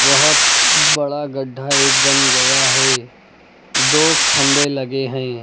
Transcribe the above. बहुत बड़ा गड्ढा एक बन गया है दो खंभे लगे हैं।